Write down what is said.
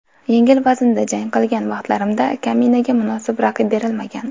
Yengil vaznda jang qilgan vaqtlarimda kaminaga munosib raqib berilmagan.